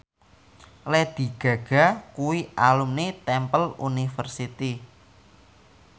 Lady Gaga kuwi alumni Temple University